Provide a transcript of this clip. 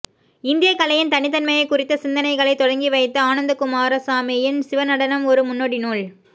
இந்தியக்கலையின் தனித்தன்மையைக் குறித்த சிந்தனைகளைத் தொடங்கிவைத்த ஆனந்தக்குமாரசாமியின் சிவநடனம் ஒரு முன்னோடி நூல்